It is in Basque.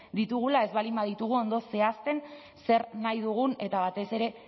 ditugula ez baldin baditugu ondo zehazten zer nahi dugun eta batez ere